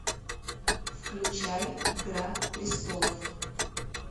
включай игра престолов